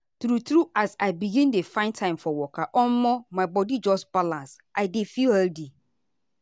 true true as i begin dey find time for waka omo my my body just balance and i dey feel healthy.